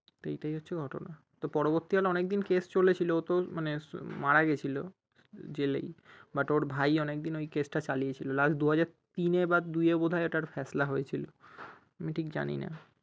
তা এইটাই হচ্ছে ঘটনা তা পরবর্তীকালে অনেক দিন case চলেছিল ওতো মারা গেছিলো জেলেই but ওর ভাই অনেক দিন ওই case টা চালিয়েছিলো last দুই হাজার তিনে বা দুইয়ে বোধ হয় এটার ফেছলা হয়েছিলো আমি ঠিক জানি না